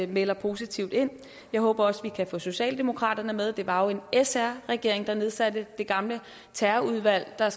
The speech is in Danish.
melder positivt ind jeg håber også at vi kan få socialdemokraterne med det var jo en sr regering der nedsatte det gamle terrorudvalg der